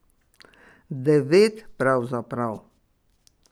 Devet, pravzaprav.